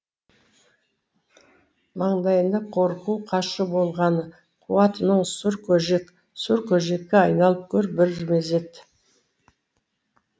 маңдайында қорқу қашу болғаны қуатының сұр көжек сұр көжекке айналып көр бір мезет